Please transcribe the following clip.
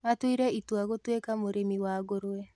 Atuire itua gũtuĩka mũrĩmi wa ngũrwe